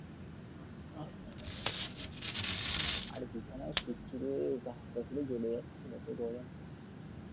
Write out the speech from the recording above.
আরে বিছানায় শুচ্ছি রে গা হাত পা গুলো জ্বলে যাচ্ছে এত গরম ।